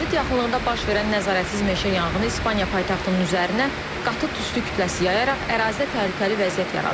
Madrid yaxınlığında baş verən nəzarətsiz meşə yanğını İspaniya paytaxtının üzərinə qatı tüstü kütləsi yayaraq ərazidə təhlükəli vəziyyət yaradıb.